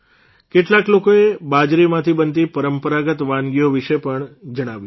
કેટલાક લોકોએ બાજરીમાંથી બનતી પરંપરાગત વાનગીઓ વિશે પણ જણાવ્યું છે